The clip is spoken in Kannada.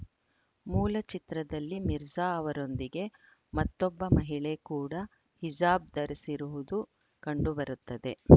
ಮೂಲ ಚಿತ್ರದಲ್ಲಿ ಮಿರ್ಜಾ ಅವರೊಂದಿಗೆ ಮತ್ತೊಬ್ಬ ಮಹಿಳೆ ಕೂಡ ಹಿಜಾಬ್‌ ಧರಿಸಿರುವುದು ಕಂಡುಬರುತ್ತದೆ